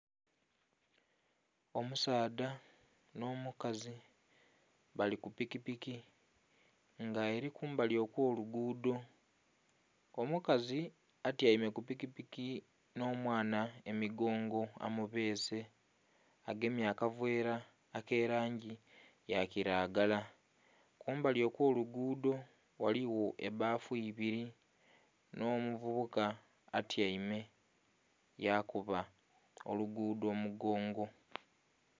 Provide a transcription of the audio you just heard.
Omusaadha n'omukazi bali ku pikipiki nga eli kumbali okw'oluguudo, omukazi atyaime ku pikipiki n'omwana emigongo amubeese. Agemye akaveera ak'elangi ya kiragala. Kumbali okw'oluguudo ghaligho ebbafu ibiri n'omuvubuka atyaime yakuba oluguudo omugongo.